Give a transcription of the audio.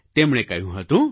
તેમણે કહ્યું હતું